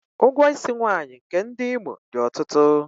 Ụgwọ isi nwaanyị nke ndị Imo dị ọtụtụ.